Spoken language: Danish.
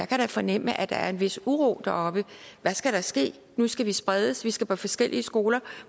kan fornemme at der er en vis uro deroppe hvad skal der ske nu skal vi spredes vi skal på forskellige skoler